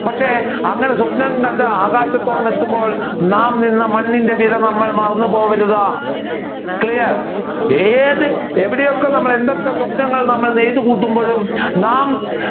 പക്ഷെ അങ്ങനെ സ്വപ്നം കണ്ട് ആകാശത്തോളം എത്തുമ്പോൾ നാം നിന്ന മണ്ണിന്റെ വില നാം മറന്ന് പോകരുത്. Clear ഏത് എവിടെയൊക്കെ എന്തൊക്കെ സ്വപ്‌നങ്ങൾ നമ്മൾ നെയ്തു കൂട്ടുമ്പോഴും നാം